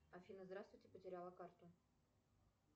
афина здравствуйте потеряла карту